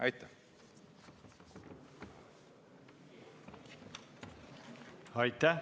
Aitäh!